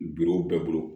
Biw bɛɛ bolo